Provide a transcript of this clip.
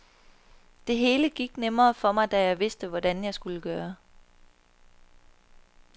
Det hele gik nemmere for mig, da jeg vidste, hvordan jeg skulle gøre.